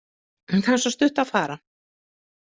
Það er svo stutt að fara.